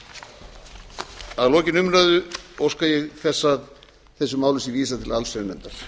þessu samstarfi að lokinni umræðu óska ég þess að þessu máli sé vísað til allsherjarnefndar